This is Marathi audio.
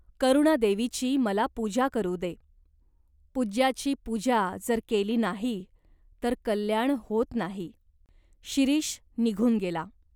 करुणादेवीची मला पूजा करू दे. पूज्याची पूजा जर केली नाही तर कल्याण होत नाही." शिरीष निघून गेला.